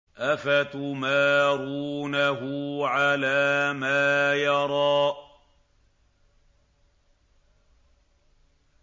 أَفَتُمَارُونَهُ عَلَىٰ مَا يَرَىٰ